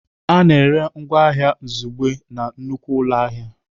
A na-ere ngwa ahịa izugbe na nnukwu ụlọ ahịa.